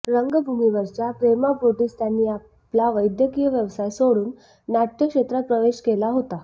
रंगभूमीवरच्या प्रेमापोटीच त्यांनी आपला वैद्यकीय व्यवसाय सोडून नाट्यक्षेत्रात प्रवेश केला होता